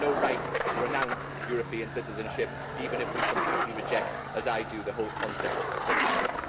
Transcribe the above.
We have no right to renounce European citizenship, even if we completely reject as I do the whole concept of such a thing.